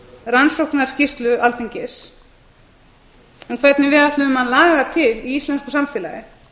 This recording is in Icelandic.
rannsóknarskýrslu alþingis um hvernig við ætlum að laga til í íslensku samfélagi